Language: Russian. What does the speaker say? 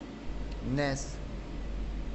нэс